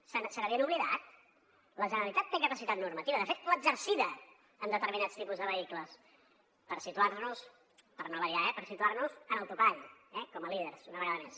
se n’havien oblidat la generalitat té capacitat normativa de fet l’ha exercida en determinats tipus de vehicles per situar nos per no variar eh en el topall eh com a líders una vegada més